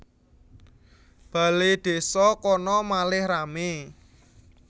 Baledésa kono malih rame